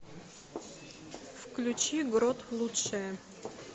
включи грот лучшее